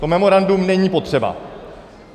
To memorandum není potřeba.